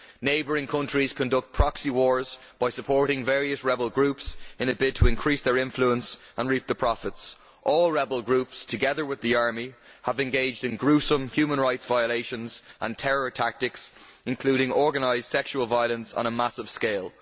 Neighbouring countries conduct proxy wars by supporting various rebel groups in a bid to increase their influence and reap the profits. All rebel groups, together with the army, have engaged in gruesome human rights violations and terror tactics, including organised sexual violence on a massive scale.